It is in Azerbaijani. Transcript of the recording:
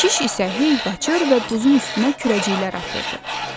Kişi isə hey qaçır və buzun üstündən kürəciklər atırdı.